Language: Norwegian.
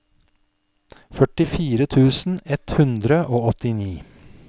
førtifire tusen ett hundre og åttini